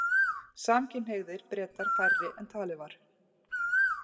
Samkynhneigðir Bretar færri en talið var